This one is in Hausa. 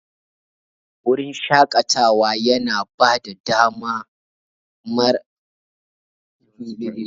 Wurin shaƙatawa yana ba da dama mara iyaka don nishaɗi.